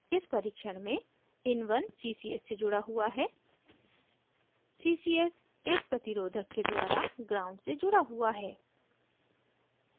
इस परीक्षण में